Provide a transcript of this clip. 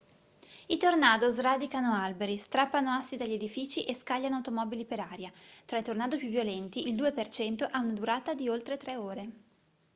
i tornado sradicano alberi strappano assi dagli edifici e scagliano automobili per aria tra i tornado più violenti il 2% ha una durata di oltre tre ore